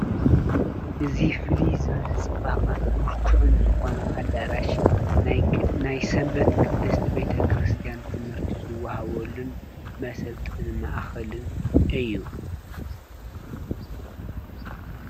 እዙ ፍልይ ዝበለ ጽባቕን ምልኩዕን ዝኾነ ኣዳራሽ ናይ ሰንበት ቅድስቲ ቤተ ክርስቲያን ትምህርቲ ዝወሃወሉን መሰልጥን መኣኽልን እዩ።